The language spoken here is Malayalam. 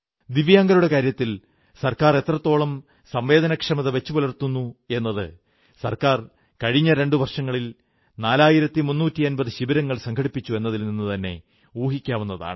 ദിവ്യാംഗരുടെ കാര്യത്തിൽ സർക്കാർ എത്രത്തോളം സംവേദനക്ഷമത വച്ചു പുലർത്തുന്നു എന്നത് സർക്കാർ കഴിഞ്ഞ രണ്ടു വർഷങ്ങളിൽ നാലായിരത്തി മുന്നൂറ്റമ്പതു ശിബിരങ്ങൾ സംഘടിപ്പിച്ചു എന്നതിൽ നിന്നുതന്നെ ഊഹിക്കാവുന്നതാണ്